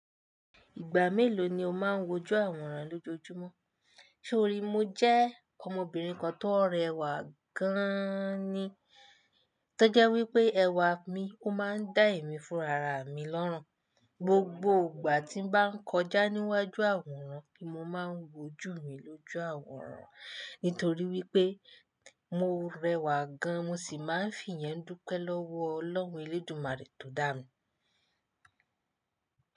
Ìgbà mélòó ni o máa ń wojú àwòrán lójojúmọ́? Sé orí, mo jẹ́ ọmọbìnrin kan tó rẹwà gáán ni. Tójẹ́ wípé ẹwà mi ó máa ń dá èmi fúnra ra mi lọ́rùn. Gbogbo ìgbà tí ń bá kọjá níwájú àwòrán ni mo máa ń wojú mi lójú àwòrán. Nítorí wípé mo rẹwà gan, mo sì máa ń fi yẹn dúpẹ́ lọ́wọ́ Ọlọ́run Elédumare tó dá mi.